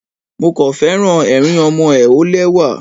Mo kàn féràn ẹ̀rín ọmọ ẹ, ó lẹ́wà.